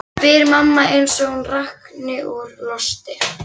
spyr mamma eins og hún rakni úr losti.